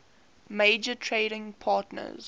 major trading partners